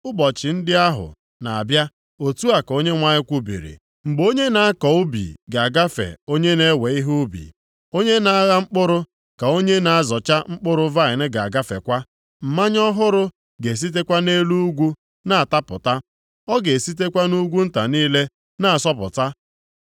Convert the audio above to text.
“Ụbọchị ndị ahụ na-abịa, otu a ka Onyenwe anyị kwubiri, “Mgbe onye na-akọ ubi ga-agafe onye na-ewe ihe ubi, onye na-agha mkpụrụ ka onye na-azọcha mkpụrụ vaịnị ga-agafekwa. Mmanya ọhụrụ ga-esitekwa nʼelu ugwu na-atapụta, ọ ga-esitekwa nʼugwu nta niile na-asọpụta.